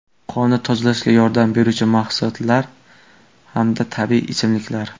Qonni tozalashga yordam beruvchi mahsulot hamda tabiiy ichimliklar.